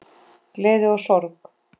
Gleði og sorg.